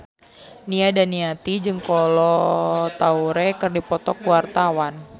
Nia Daniati jeung Kolo Taure keur dipoto ku wartawan